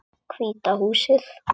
Hvíta húsið.